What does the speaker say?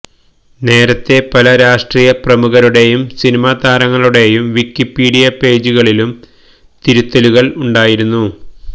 നേരത്തേ പല രാഷ്ട്രീയ പ്രമുഖരുടേയും സിനിമാതാരങ്ങളുടേയും വിക്കിപീഡിയ പേജുകളിലും തിരുത്തലുകള് ഉണ്ടായിരുന്നു